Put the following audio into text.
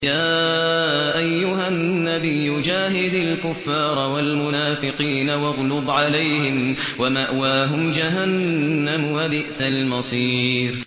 يَا أَيُّهَا النَّبِيُّ جَاهِدِ الْكُفَّارَ وَالْمُنَافِقِينَ وَاغْلُظْ عَلَيْهِمْ ۚ وَمَأْوَاهُمْ جَهَنَّمُ ۖ وَبِئْسَ الْمَصِيرُ